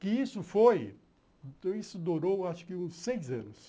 Que isso foi, isso durou acho que uns seis anos.